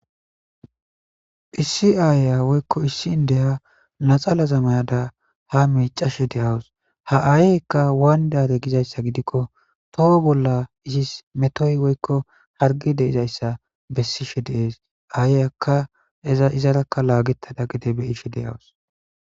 phissi aayya woykko issi n deya naxala zamayada ha miicashe deyawus ha aayyykka waayndare gizayssa gidikko toho bolla izis metoy woykko hargi deizayssa bessishe deees aayyakka eza izarakka laagetada gide beyishe deyawus